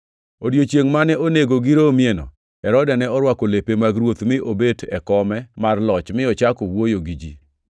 Odiechiengʼ mane onego giromieno, Herode ne orwako lepe mag ruoth mi obet e kome mar loch mi ochako wuoyo gi ji.